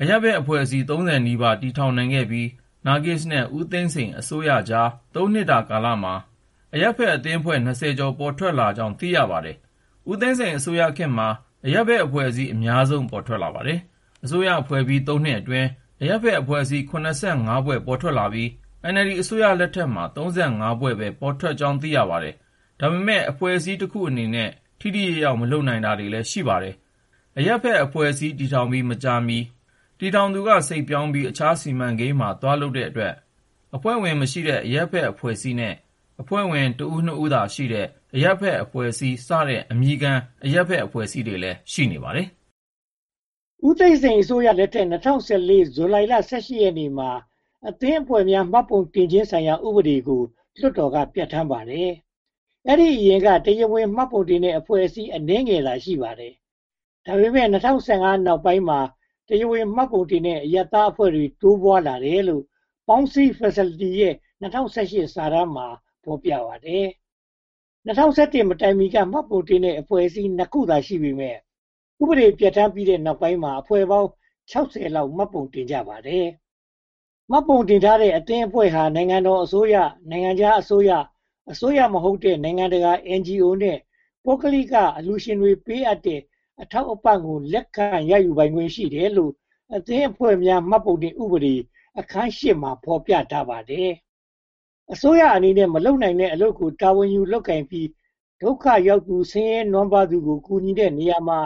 အရပ်ဘက်အဖွဲ့အစည်း (၃၀) နီးပါး တည်ထောင်နိုင်ခဲ့ပြီး နာဂစ်နဲ့ ဦးသိန်းစိန်အစိုးရကြား (၃) နှစ်ကာလမှာ အရပ်ဘက်အသင်းအဖွဲ့ (၂၀) ကျော် ပေါ်ထွက်လာကြောင်း သိရပါတယ်။ ဦးသိန်းစိန်အစိုးရခေတ်မှာ အရပ်ဘက်အဖွဲ့ အများဆုံး ပေါ်ထွက်လာပါတယ်။ အစိုးရဖွဲ့ပြီး (၃) နှစ်အတွင်း အရပ်ဘက်အဖွဲ့ (၇၅) ဖွဲ့ ပေါ်ထွက်လာပြီး NLD အစိုးရလက်ထက်မှာ (၃၅) ဖွဲ့ ပေါ်ထွက်လာကြောင်း သိရပါတယ်။ ဒါပေမဲ့ အဖွဲ့အစည်းတခုအနေနဲ့ ထိထိရောက်ရောက် မလုပ်နိုင်တာတွေလည်း ရှိပါတယ်။ အရပ်ဘက်အဖွဲ့ တည်ထောင်ပြီး မကြာမီ တည်ထောင်သူက စိတ်ပြောင်းပြီး အခြားစီမံကိန်းမှာ သွားလုပ်တဲ့အတွက် အဖွဲ့ဝင်မရှိတဲ့ အရပ်ဘက်အဖွဲ့နဲ့ အဖွဲ့ဝင် တဦး၊ နှစ်ဦးသာရှိတဲ့ အရပ်ဘက်အဖွဲ့အစည်းစတဲ့ အမည်ခံ အရပ်ဘက်အဖွဲ့အစည်းတွေလည်း ရှိပါတယ်။ ဦးသိန်းစိန်အစိုးရလက်ထက် ၂၀၁၄ ဇူလိုင်လ (၁၈) ရက်နေ့မှာ အသင်းအဖွဲ့များ မှတ်ပုံတင်ခြင်းဆိုင်ရာ ဥပဒေကို လွှတ်တော်က ပြဌာန်းပါတယ်။ အဲဒီအရင်က တရားဝင်မှတ်ပုံတင်တဲ့ အဖွဲ့အစည်း အနည်းငယ်သာ ရှိပါတယ်။ ဒါပေမဲ့ (၂၀၁၅) နောက်ပိုင်းမှာ တရားဝင်မှတ်ပုံတင်တဲ့ အရပ်ဘက်အဖွဲ့တွေ တိုးပွားလာတယ်လို့ Paung Sie Facility ရဲ့ ၂၀၁၈ စစ်တမ်းမှာ ဖော်ပြပါတယ်။ ၂၀၁၁ မတိုင်မီက မှတ်ပုံတင်တဲ့ အဖွဲ့အစည်း (၂) ခုသာ ရှိပေမယ့် ဥပဒေပြဌာန်းပြီးတဲ့နောက်ပိုင်းမှာ အဖွဲ့ပေါင်း (၆၀) လောက် မှတ်ပုံတင်ကြပါတယ်။ မှတ်ပုံတင်ထားတဲ့ အသင်းအဖွဲ့ဟာ နိုင်ငံတော်အစိုးရ၊ နိုင်ငံခြားအစိုးရ၊ အစိုးရမဟုတ်တဲ့နိုင်ငံတကာ NGO နဲ့ ပုဂ္ဂလိကအလှုရှင်တွေ ပေးအပ်တဲ့ အထောက်အပံ့ကို လက်ခံရယူပိုင်ခွင့် ရှိတယ်လို့ အသင်းအဖွဲ့များ မှတ်ပုံတင်ဥပဒေ အခန်း (၈) မှာ ဖော်ပြထားပါတယ်။ အစိုးရအနေနဲ့ မလုပ်နိုင်တဲ့ အလုပ်ကို တာဝန်ယူလုပ်ကိုင်ပြီး ဒုက္ခရောက်သူနဲ့ ဆင်းရဲနွမ်းပါးသူကို ကူညီတဲ့နေရာမှာ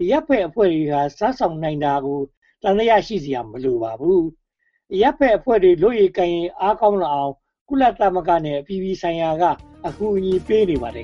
အရပ်ဘက်အဖွဲ့တွေ စွမ်းဆောင်နိုင်တာကို သံသယ ရှိစရာ မလိုပါဘူး။ အရပ်ဘက်အဖွဲ့ဝင်တွေ လုပ်ရည်ကိုင်ရည် ကောင်းလာအောင် ကုလသမဂ္ဂနဲ့ အပြည်ပြည်ဆိုင်ရာတို့က အကူအညီပေးနေပါတယ်